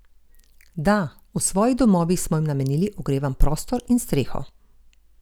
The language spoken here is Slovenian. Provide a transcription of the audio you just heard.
Da, v svojih domovih smo jim namenili ogrevan prostor in streho.